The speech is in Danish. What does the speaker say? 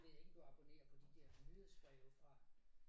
Jeg ved ikke om du abonnerer på de der nyhedsbreve fra